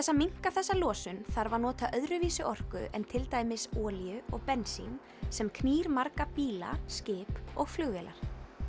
að minnka þessa losun þarf að nota öðruvísi orku en til dæmis olíu og bensín sem knýr marga bíla skip og flugvélar